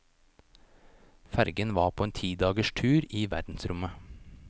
Fergen var på en ti dagers tur i verdensrommet.